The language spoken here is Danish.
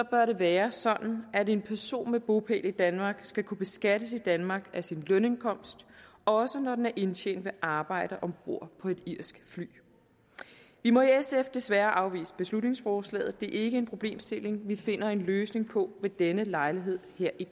bør det være sådan at en person med bopæl i danmark skal kunne beskattes i danmark af sin lønindkomst også når den er indtjent ved arbejde om bord på et irsk fly vi må i sf desværre afvise beslutningsforslaget det er ikke en problemstilling vi finder en løsning på ved denne lejlighed her i